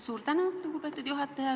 Suur tänu, lugupeetud juhataja!